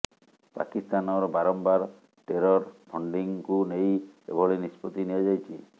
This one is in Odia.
ପାକିସ୍ତାନର ବାରମ୍ବାର ଟେରର ଫଣ୍ଡିଙ୍ଗକୁ ନେଇ ଏଭଳି ନିଷ୍ପତ୍ତି ନିଆ ଯାଇଛି